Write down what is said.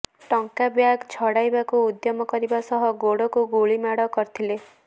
ଟଙ୍କା ବ୍ୟାଗ ଛଡାଇବାକୁ ଉଦ୍ୟମ କରିବା ସହ ଗୋଡକୁ ଗୁଳି ମାଡ଼ କରିଥିଲେ